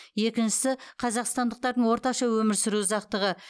екіншісі қазақстандықтардың орташа өмір сүру ұзақтығы